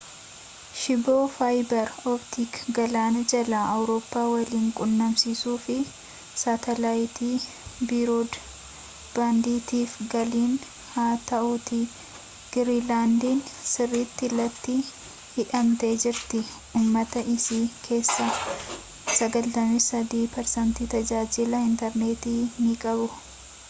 shiboo faayibar optikii galaana jalaan awurooppaa waliin walquunnamsiisuu fi saatalaayitii biroodbaandiitiif gallannii haa ta'uutii giriinlaandiin sirritti litti hidhamtee jirti ummata isii kessaas 93% tajaajiila intarneetii ni qabu